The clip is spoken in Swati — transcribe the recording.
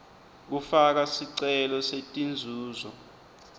kufaka sicelo setinzuzo